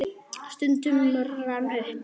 Stundin rann upp.